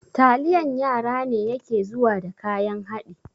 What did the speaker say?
Taliyan yara ne yake zuwa da kayan haɗi